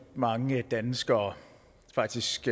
mange danskere faktisk